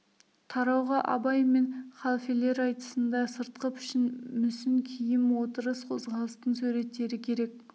тарауға абай мен халфелер айтысында сыртқы пішін мүсін киім отырыс қозғалыстың суреттері керек